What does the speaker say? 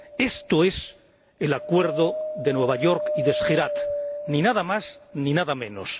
Esto es el acuerdo de Nueva York y de Skhirat, nada más ni nada menos.